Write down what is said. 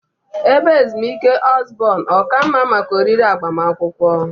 Ebe ezumike Osborn ọ ka mma maka oriri agbamakwụkwọ?